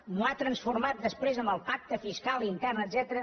m’ho ha transformat després en el pacte fiscal intern etcètera